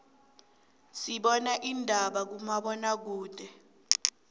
sibana indaba kuma bona kude